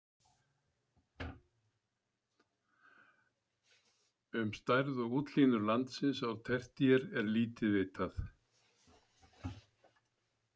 Um stærð og útlínur landsins á tertíer er lítið vitað.